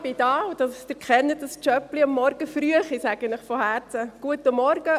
Ich wünsche Ihnen von Herzen einen guten Morgen.